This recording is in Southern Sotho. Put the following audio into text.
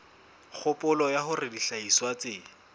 kgopolo ya hore dihlahiswa tse